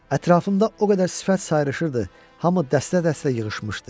Ətrafımda o qədər sifət sayrışırdı, hamı dəstə-dəstə yığışmışdı.